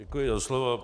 Děkuji za slovo.